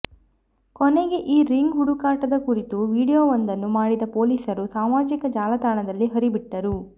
ಕೊನೆಗೆ ಈ ರಿಂಗ್ ಹುಡುಕಾಟದ ಕುರಿತ ವಿಡಿಯೋವೊಂದನ್ನು ಮಾಡಿದ ಪೊಲೀಸರು ಸಾಮಾಜಿಕ ಜಾಲತಾಣದಲ್ಲಿ ಹರಿಬಿಟ್ಟರು